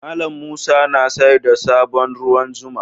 Mallam Musa na sayar da sabon ruwan zuma.